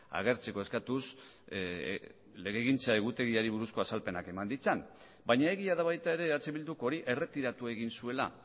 agertzeko eskatuz legegintza egutegiari buruzko azalpenak eman ditzan baina egia da baita ere eh bilduk hori erretiratu egin zuela